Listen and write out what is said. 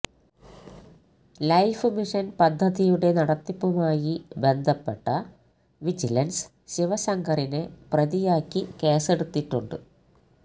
life mission പദ്ധതിയുടെ നടത്തിപ്പുമായി ബന്ധപ്പെട്ട വിജിലൻസ് ശിവശങ്കറിനെ പ്രതിയാക്കി കേസെടുത്തിട്ടുണ്ട്